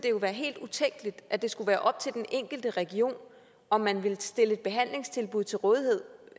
jo være helt utænkeligt at det skulle være op til den enkelte region om man ville stille et behandlingstilbud til rådighed